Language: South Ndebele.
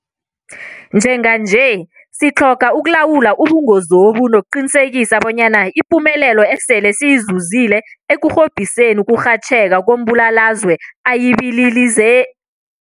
Njenganje sitlhoga ukulawula ubungozobu nokuqinisekisa bonyana ipumelelo esele siyizuzile ekurhobhiseni ukurhatjheka kombulalazwe ayibililize